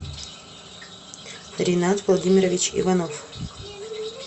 ринат владимирович иванов